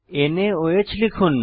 নাওহ লিখুন